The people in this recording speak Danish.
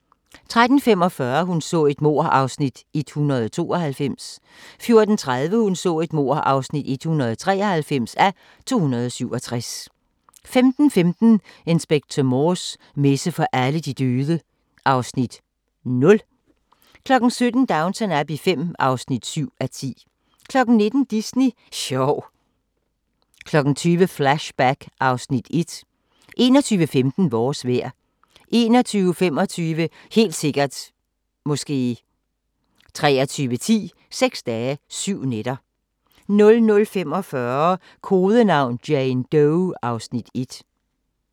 13:45: Hun så et mord (192:267) 14:30: Hun så et mord (193:267) 15:15: Inspector Morse: Messe for alle de døde (Afs. 0) 17:00: Downton Abbey V (7:10) 19:00: Disney sjov 20:00: Flashback (Afs. 1) 21:15: Vores vejr 21:25: Helt sikkert ... måske 23:10: Seks dage, syv nætter 00:45: Kodenavn: Jane Doe (Afs. 1)